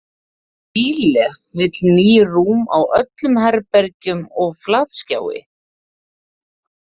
Síle vill ný rúm á öllum herbergjum og flatskjái.